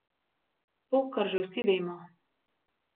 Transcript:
To, kar že vsi vemo.